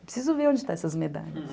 Preciso ver onde estão essas medalhas.